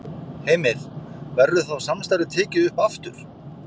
Heimir: Verður þá samstarfið tekið upp aftur?